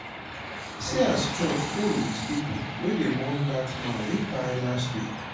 We fit use candle night take mourn person wey don kpai leave us